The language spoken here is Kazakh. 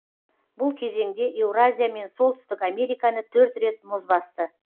бұл кезеңде еуразия мен солтүстік американы төрт рет мұз басты